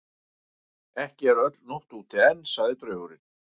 Ekki er úti öll nótt enn, sagði draugurinn.